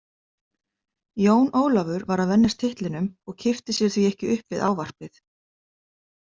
Jón Ólafur var að venjast titlinum og kippti sér því ekki upp við ávarpið.